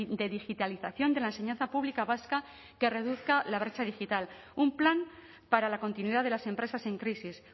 de digitalización de la enseñanza pública vasca que reduzca la brecha digital un plan para la continuidad de las empresas en crisis